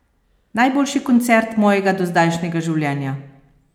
Najboljši koncert mojega dozdajšnjega življenja!